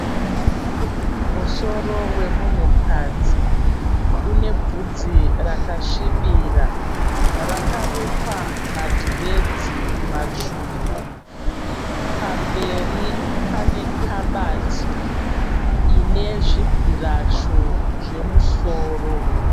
Musoro wemunhukadzi. Une bvudzi rakasvibira rakarukwa madhiredzi matsvuku. Pamberi pane kabati ine zvibhurasho zvemusoro.